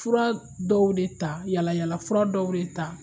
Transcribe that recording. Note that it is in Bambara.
Fura dɔw de ta, yaala yaala fura dɔw de ta